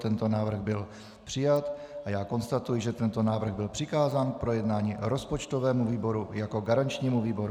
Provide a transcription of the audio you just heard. Tento návrh byl přijat a já konstatuji, že tento návrh byl přikázán k projednání rozpočtovému výboru jako garančnímu výboru.